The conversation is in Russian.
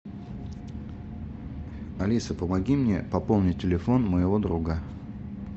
алиса помоги мне пополнить телефон моего друга